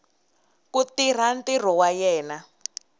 ku tirha ntirho wa yena